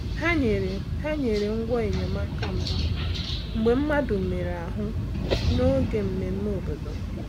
Hà nyerè Hà nyerè ngwá enyemáka mbụ mgbe mmadụ merè̀ ahú n’oge mmemme obodo.